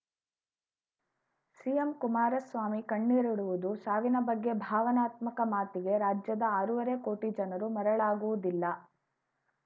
CM Kumaraswamy ಕಣ್ಣೀರಿಡುವುದು ಸಾವಿನ ಬಗ್ಗೆ ಭಾವನಾತ್ಮಕ ಮಾತಿಗೆ ರಾಜ್ಯದ ಆರೂವರೆ ಕೋಟಿ ಜನರು ಮರಳಾಗುವುದಿಲ್ಲ